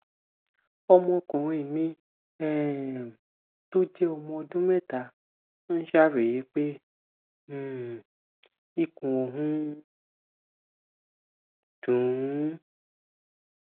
ọmọkùnrin mi um tó jẹ ọmọ ọdún mẹta ń ṣàròyé pé um ikùn òun ń dùn ún